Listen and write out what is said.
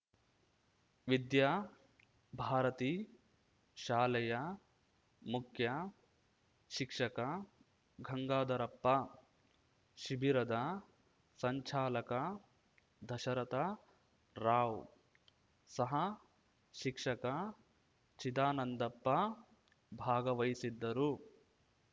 ವಿದ್ಯಾ ಭಾರತಿ ಶಾಲೆಯ ಮುಖ್ಯಶಿಕ್ಷಕ ಗಂಗಾಧರಪ್ಪ ಶಿಬಿರದ ಸಂಚಾಲಕ ದಶರಥ ರಾವ್‌ ಸಹ ಶಿಕ್ಷಕ ಚಿದಾನಂದಪ್ಪ ಭಾಗವಹಿಸಿದ್ದರು